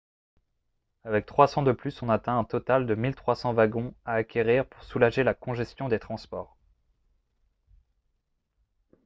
avec 300 de plus on atteint un total de 1 300 wagons à acquérir pour soulager la congestion des transports